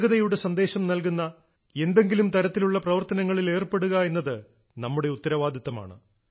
ഏകതയുടെ സന്ദേശം നൽകുന്ന എന്തെങ്കിലും തരത്തിലുള്ള പ്രവർത്തനങ്ങളിൽ ഏർപ്പെടുക എന്നത് നമ്മുടെ ഉത്തരവാദിത്വമാണ്